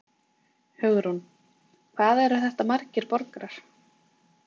Hugrún: Hvað eru þetta margir borgarar?